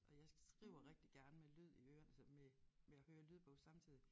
Og jeg skriver rigtig gerne med lyd i ørerne så med med at høre lydbog samtidig